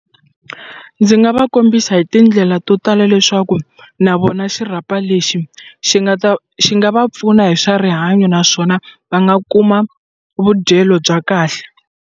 Ndzi nga va kombisa hi tindlela to tala leswaku na vona xirhapa lexi xi nga ta xi nga va pfuna hi swa rihanyo naswona va nga kuma vudyelo bya kahle.